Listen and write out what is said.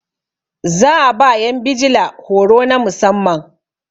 za a ba yan bijila horo na musamman